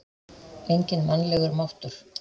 Enginn mannlegur máttur?